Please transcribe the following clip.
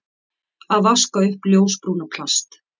Að vaska upp ljósbrúna plast